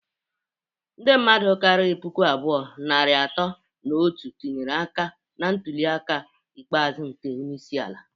Ndi mmadu kariri puku abụọ, narị atọ na otu tinyere aka na ntuli aka ikpeazu nke onye isi ala.